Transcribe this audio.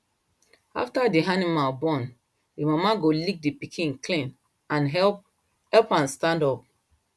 after the animal born the mama go lick the pikin clean and help help am stand up